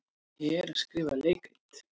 Ég er að skrifa leikrit.